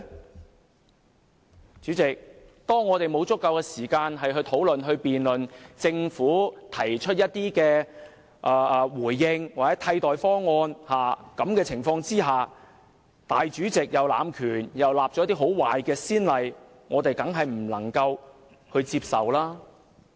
代理主席，當我們沒有足夠時間討論、辯論政府的回應或替代方案，立法會主席又濫權，開壞先例，我們當然不能接受。